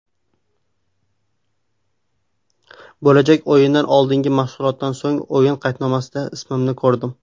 Bo‘lajak o‘yindan oldingi mashg‘ulotdan so‘ng o‘yin qaydnomasida ismimni ko‘rdim.